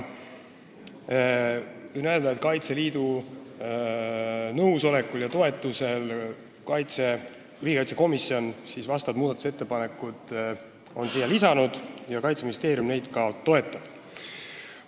Võin öelda, et Kaitseliidu nõusolekul ja toetusel on riigikaitsekomisjon vastavad muudatusettepanekud siia lisanud ja Kaitseministeerium neid ka toetab.